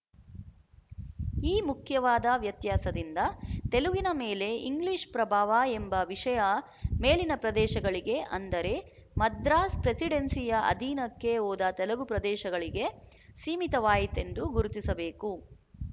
ಈ ಮುಖ್ಯವಾದ ವ್ಯತ್ಯಾಸದಿಂದ ತೆಲುಗಿನ ಮೇಲೆ ಇಂಗ್ಲಿಶ ಪ್ರಭಾವ ಎಂಬ ವಿಶಯ ಮೇಲಿನ ಪ್ರದೇಶಗಳಿಗೆ ಅಂದರೆ ಮದ್ರಾಸ್ ಪ್ರೆಸಿಡೆನ್ಸಿಯ ಅಧೀನಕ್ಕೆ ಹೋದ ತೆಲುಗು ಪ್ರದೇಶಗಳಿಗೆ ಸೀಮಿತವಾಯಿತೆಂದು ಗುರುತಿಸಬೇಕು